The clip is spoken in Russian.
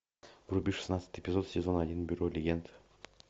вруби шестнадцатый эпизод сезон один бюро легенд